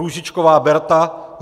Růžičková Berta